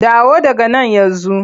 Dawo daga nan yanzu!